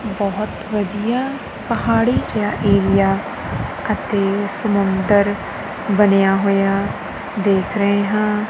ਬਹੁਤ ਵਧੀਆ ਪਹਾੜੀ ਜਿਹਾ ਏਰੀਆ ਅਤੇ ਸਮੁੰਦਰ ਬਣਿਆ ਹੋਇਆ ਦਿੱਖ ਰਿਹਾ।